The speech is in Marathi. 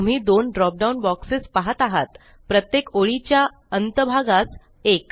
तुम्ही दोनdrop down बॉक्सेस पाहत आहात प्रत्येक ओळीच्या च्या अंत भागास एक